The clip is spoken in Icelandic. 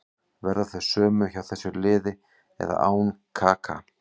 Verða þau sömu hjá þessu liði með eða án Kaka.